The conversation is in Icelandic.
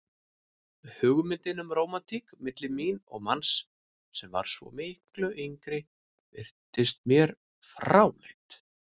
Hugmyndin um rómantík milli mín og manns sem var svo miklu yngri virtist mér fráleit.